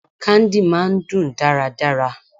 Candy máà ń dùn dáradára.